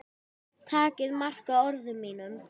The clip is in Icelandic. Takið mark á orðum mínum.